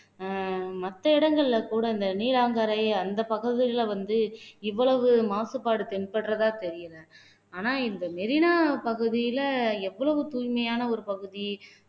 அஹ் மத்த இடங்கள்ல கூட இந்த நீராங்கரை அந்த பகுதியில வந்து இவ்வளவு மாசுபாடு தென்படுறதா தெரியல ஆனா இந்த மெரினா பகுதியில எவ்வளவு தூய்மையான ஒரு பகுதி